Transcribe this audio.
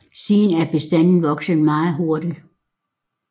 Siden er bestanden vokset meget hurtigt